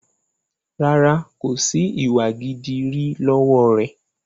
Rárá, kòsi ìwà gidi rí lọ́wọ́ rẹ.